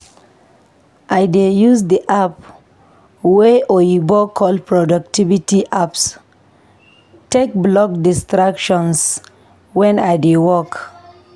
I dey use di app wey oyibo call "productivity apps" take block distractions wen I dey work.